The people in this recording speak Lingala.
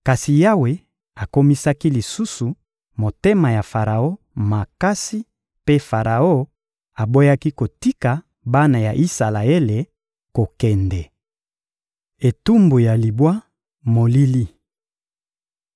Kasi Yawe akomisaki lisusu motema ya Faraon makasi mpe Faraon aboyaki kotika bana ya Isalaele kokende. Etumbu ya libwa: molili